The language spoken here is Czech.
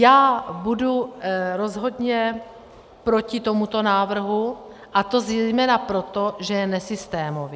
Já budu rozhodně proti tomuto návrhu, a to zejména proto, že je nesystémový.